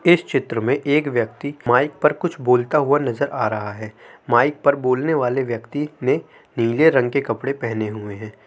इस चित्र में एक व्यक्ती माइक पर कुछ बोलता हुआ नज़र आ रहा है | माइक पर बोलने वाले व्यक्ती ने नीले रंग के कपड़े पहनें हुएँ हैं।